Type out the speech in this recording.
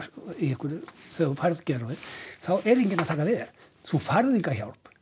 einhverju þegar þú færð geðrofið þá er enginn að taka við þér þú færð enga hjálp